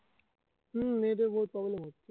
হম net এ বহুত problem হচ্ছে